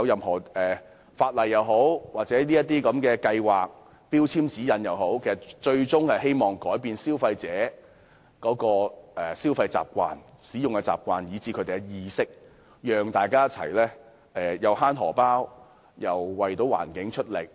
相關法例、計劃及標籤指引的最終目的，是改變消費者的消費習慣和使用電器的習慣，並提高他們的節能意識，讓大家省錢之餘，亦可為環境出力。